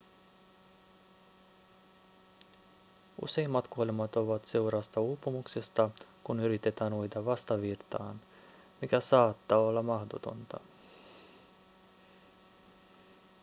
useimmat kuolemat ovat seurausta uupumuksesta kun yritetään uida vastavirtaan mikä saattaa olla mahdotonta